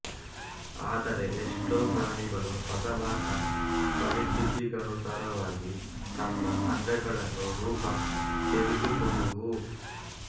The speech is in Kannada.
ಆದರೆ ಎಷ್ಟೋ ಪ್ರಾಣಿಗಳು ಬದಲಾದ ಪರಿಸ್ಥಿತಿಗನುಸಾರ ವಾಗಿ ತಮ್ಮ ಅಂಗಗಳನ್ನು ರೂಪಾಂತರಿಸಿಕೊಳ್ಳುವುವು